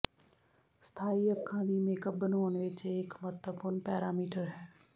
ਸਥਾਈ ਅੱਖਾਂ ਦੀ ਮੇਕਅਪ ਬਣਾਉਣ ਵਿੱਚ ਇਹ ਇੱਕ ਮਹੱਤਵਪੂਰਣ ਪੈਰਾਮੀਟਰ ਹੈ